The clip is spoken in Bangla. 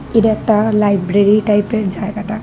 এটা একটা লাইব্রেরি টাইপের জায়গাটা।